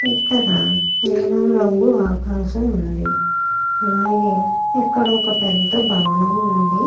ఇక్కడ నీలము రంగు ఆకాశము ఉంది. ఇక్కడ పెద్ద భవనము ఉంది.